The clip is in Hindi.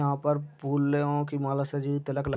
यहाँ पर फूलों की माला सजी हुई तिलक लगी --